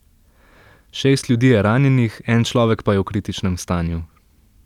Šest ljudi je ranjenih, en človek pa je v kritičnem stanju.